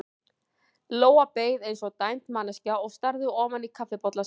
Lóa beið eins og dæmd manneskja og starði ofan í kaffibollann sinn.